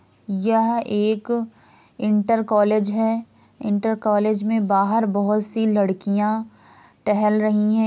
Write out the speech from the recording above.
यह एक inter college है इंटर कॉलेज में बाहर बहूत सी लड़कियाँ टहल रही है।